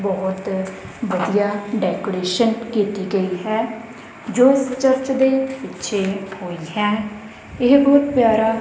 ਬਹੁਤ ਵਧੀਆ ਡੈਕੋਰੇਸ਼ਨ ਕੀਤੀ ਗਈ ਹੈ ਜੋ ਇਸ ਚਰਚ ਦੇ ਪਿੱਛੇ ਹੋਈ ਹੈ ਇਹ ਬਹੁਤ ਪਿਆਰਾ--